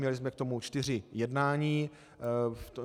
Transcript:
Měli jsme k tomu čtyři jednání.